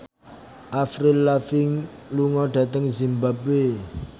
Avril Lavigne lunga dhateng zimbabwe